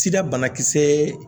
Sida banakisɛ